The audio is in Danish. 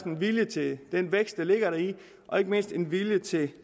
en vilje til den vækst der ligger deri og ikke mindst en vilje til